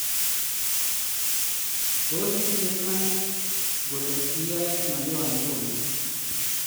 Tos itinye imanit kole iyae ng'alyo nguni